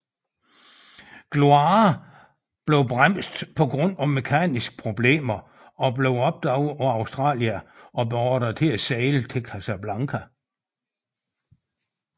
Gloire blev bremset på grund af mekaniske problemer og blev opdaget af Australia og beordret til at sejle til Casablanca